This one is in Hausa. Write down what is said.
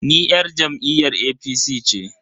Ni yar jam'iyyar APC ce.